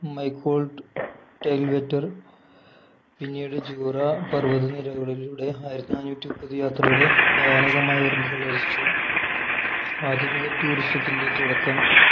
മൈക്കോൾട്ട് ടെയിൽ‌വെറ്റർ പിന്നീട് ജൂറ പർവതനിരകളിലൂടെ ആയിരത്തിനാനൂറ്റിമുപ്പത് യാത്രയുടെ ഭയാനകമായ ഓർമ്മകൾ രചിച്ചു ആധുനിക Tourism ത്തിന്റെ തുടക്കം